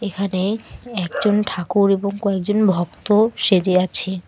এখানে একজন ঠাকুর এবং কয়েকজন ভক্ত সেজে আছে।